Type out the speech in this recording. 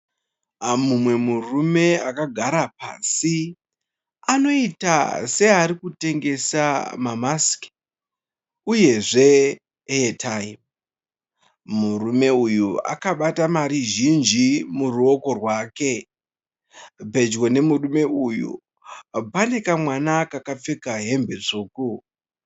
Mumwe murume akagara pasi. Anoita seari kutengesa mamasiki uyezve Airtime. Murume uyu akabata mari zhinji muruoko rwake. Pedyo nemurume uyu pane kamwana kakapfeka hembe tsvuku.